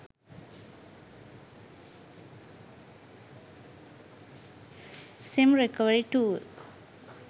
sim recovery tool